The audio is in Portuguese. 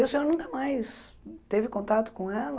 E o senhor nunca mais teve contato com ela?